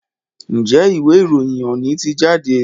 Njé Ìwé-ìròyìn òní tí jáde?